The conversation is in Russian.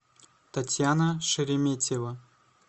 татьяна шереметьева